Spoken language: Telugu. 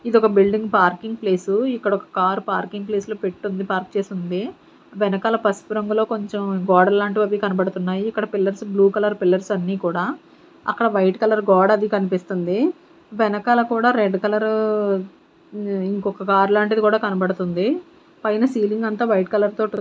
ఇది ఒక బిల్డింగ్ పార్కింగ్ ప్లేస్సు ఇక్కడ ఒక పార్కింగ్ ప్లేస్ లో పెట్టి ఉంది పార్క్ చేసి ఉంది వెనకాల పసుపు రంగులో కొంచం గోడ లాంటివి అవి కనబడుతున్నాయి ఇక్కడ పిల్లర్స్ బ్ల్యూ కలర్ పిల్లర్స్ అన్నీ కూడా అక్కడ వైట్ కలర్ గోడ అది కనిపిస్తుంది వెనకాల కూడా రెడ్ కలర్ మ్మ్ అది ఇంకొక కార్ లాంటిది కూడా కనబడుతుంది పైన సీలింగ్ అంత వైట్ కలర్ తోటి ఉ--